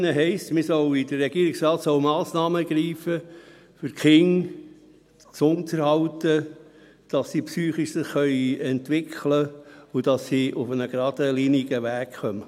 Hier in dieser Motion heisst es, der Regierungsrat solle Massnahmen ergreifen, um die Kinder gesund zu erhalten, damit sie sich psychisch entwickeln können und auf einen geradlinigen Weg kommen.